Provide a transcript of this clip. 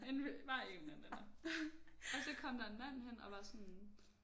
En vi bare en eller anden Anna. Og så kom der en mand hen og var sådan